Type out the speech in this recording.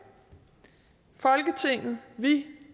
folketinget vi